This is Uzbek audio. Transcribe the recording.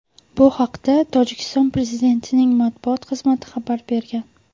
Bu haqda Tojikiston prezidentining matbuot xizmati xabar bergan .